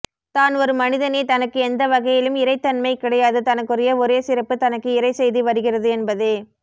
தான் ஒரு மனிதனே தனக்கு எந்த வகையிலும் இறைத்தன்மை கிடையாது தனக்குரிய ஒரே சிறப்பு தனக்கு இறைச்செய்தி வருகிறது என்பதே